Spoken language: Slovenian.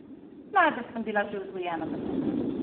Najbrž sem bila že vzgojena tako.